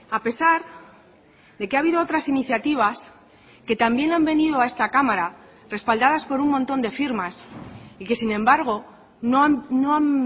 a pesar de que ha habido otras iniciativas que también han venido a esta cámara respaldadas por un montón de firmas y que sin embargo no han